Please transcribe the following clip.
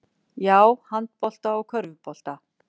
Já, handbolta og körfubolta.